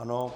Ano.